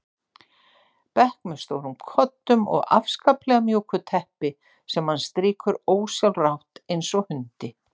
bekk með stórum koddum og afskaplega mjúku teppi sem hann strýkur ósjálfrátt eins og hundi.